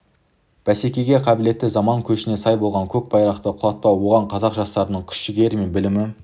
бәсекеге қабілетті заман көшіне сай болып көк байрақты құлатпау оған қазақ жастарының күш-жігері мен білімі